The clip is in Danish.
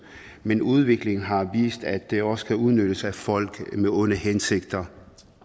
men udviklingen har vist at det også kan udnyttes af folk med onde hensigter